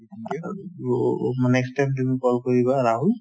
next time তুমি call কৰিবা ৰাহুল